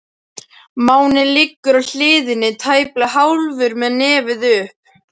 Máninn liggur á hliðinni, tæplega hálfur með nefið upp.